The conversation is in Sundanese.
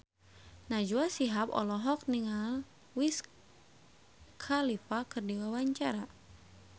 Najwa Shihab olohok ningali Wiz Khalifa keur diwawancara